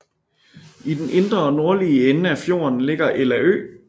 I den indre og nordlige ende af fjorden ligger Ella Ø